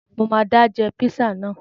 Mo máa dá jẹ píṣà náà